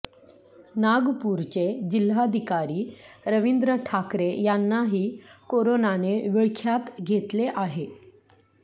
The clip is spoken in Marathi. नागपूरचे जिल्हाधिकारी रवींद्र ठाकरे यांनाही कोरोनाने विळख्यात घेतले आहे